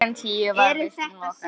Klukkan tíu var vistum lokað.